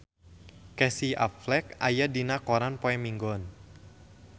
Casey Affleck aya dina koran poe Minggon